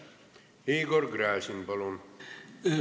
Igor Gräzin, palun!